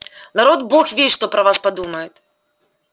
народ бог весть что про вас подумает